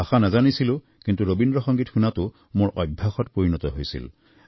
ভাষা নাজানিছিলো কিন্তু ৰবীন্দ্ৰ সংগীত শুনাটো মোৰ অভ্যাসত পৰিণত হৈছিল